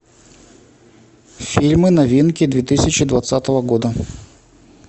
фильмы новинки две тысячи двадцатого года